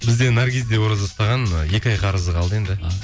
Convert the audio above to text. бізде наргиз де ораза ұстаған ы екі ай қарызы қалды енді а